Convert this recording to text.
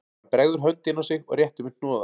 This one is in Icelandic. Hann bregður hönd inn á sig og réttir mér hnoða